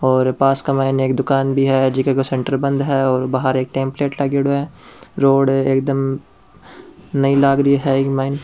और पास के मायने एक दुकान भी है जीके को सेंटर बंद है और बहार एक टेम्पलेट लागयोड़ाे है रोड है एकदम नई लाग रही है इक माईन।